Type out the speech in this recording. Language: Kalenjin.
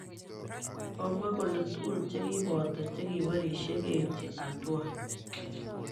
Komwa kole tugul chekipoto chekiborishe keipchi hatua.